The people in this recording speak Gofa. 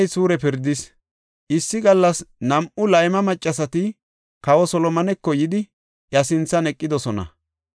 Issi gallas nam7u layma maccasati kawa Solomoneko yidi, iya sinthan eqidosona.